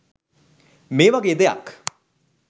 මේ වගේ දෙයක්